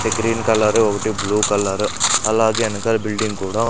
ఒకటి green colour ఒకటి blue colour అలాగే ఎనకాల బిల్డింగ్ కూడా --